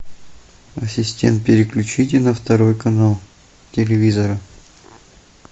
ассистент переключите на второй канал телевизора